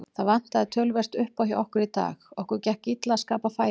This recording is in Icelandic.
Það vantaði töluvert uppá hjá okkur í dag, okkur gekk illa að skapa færi.